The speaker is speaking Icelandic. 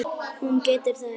Hún getur það ekki.